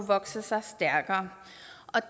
vokse sig stærkere